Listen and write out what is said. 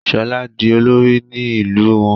Shola dì olori ní ilú wón